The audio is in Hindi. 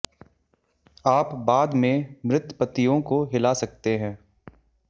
आप बाद में मृत पत्तियों को हिला सकते हैं